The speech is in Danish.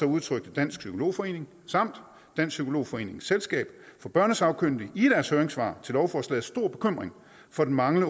udtrykte dansk psykolog forening samt dansk psykolog forenings selskab for børnesagkyndige i deres høringssvar til lovforslaget stor bekymring for den manglende